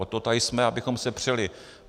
Od toho tady jsme, abychom se přeli.